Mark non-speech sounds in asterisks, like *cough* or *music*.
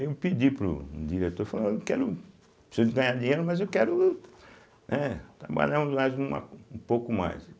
Eu pedi para o diretor, falei, eu quero, preciso de ganhar dinheiro, mas eu quero, né, trabalhar *unintelligible* um pouco mais.